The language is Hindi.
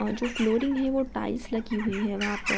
और जो फ्लोरिंग है वो टाइल्स लगी हुई है वहाँ प --